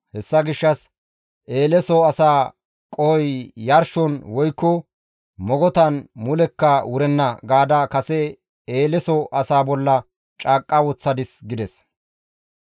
Hessa gishshas, ‹Eeleso asaa qohoy yarshon woykko mogotan mulekka wurenna› gaada kase Eeleso asaa bolla caaqqa woththadis» gides.